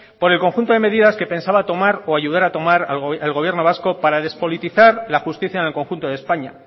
por el conjunto de medidas que pensaba tomar o ayudar a tomar el gobierno vasco para despolitizar la justicia en el conjunto de españa